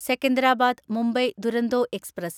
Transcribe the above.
Secunderabad Mumbai Duronto express